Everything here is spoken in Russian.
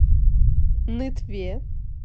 нытве